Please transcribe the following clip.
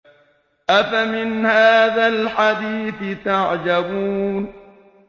أَفَمِنْ هَٰذَا الْحَدِيثِ تَعْجَبُونَ